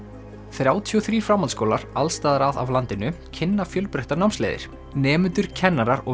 þrjátíu og þrír framhaldsskólar alls staðar að af landinu kynna fjölbreyttar námsleiðir nemendur kennarar og